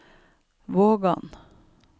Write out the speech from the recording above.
Vågan